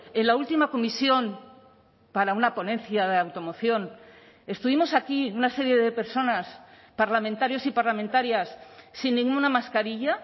en la última comisión para una ponencia de automoción estuvimos aquí una serie de personas parlamentarios y parlamentarias sin ninguna mascarilla